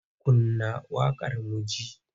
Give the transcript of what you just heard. Kunna waƙar mu ji!